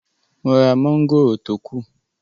Mo ra mọ́ngòrò tó kù